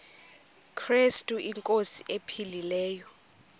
krestu inkosi ephilileyo